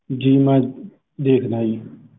ਜੀ ਮੈਂ ਦੇਖਦਾ ਜੀ।